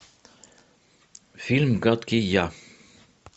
фильм гадкий я